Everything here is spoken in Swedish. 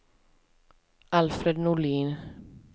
Alfred Norlin